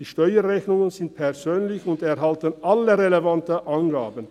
Die Steuerrechnungen sind persönlich und enthalten alle relevanten Angaben.